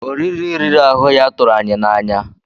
Oriri riri ahụ ya tụrụ anyị n'anya.